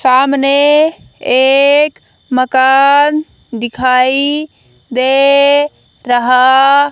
सामने एक मकान दिखाई दे रहा--